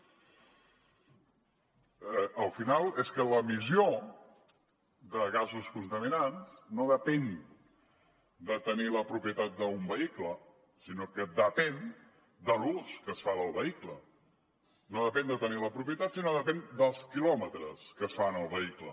al final és que l’emissió de gasos contaminants no depèn de tenir la propietat d’un vehicle sinó que depèn de l’ús que es fa del vehicle no depèn de tenir la propietat sinó depèn dels quilòmetres que es fan amb el vehicle